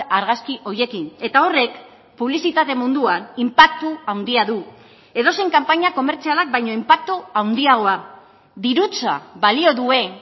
argazki horiekin eta horrek publizitate munduan inpaktu handia du edozein kanpaina komertzialak baino inpaktu handiagoa dirutza balio duen